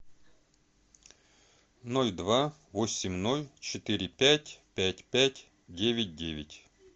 ноль два восемь ноль четыре пять пять пять девять девять